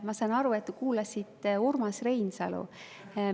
Ma saan aru, et te kuulasite Urmas Reinsalu.